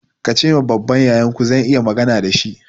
Ka ce ma babban yayanku zan yi magana da shi!